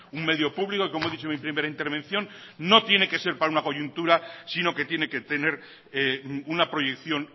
un medio público como he dicho en mi primera intervención no tiene que ser para una coyuntura sino que tiene que tener una proyección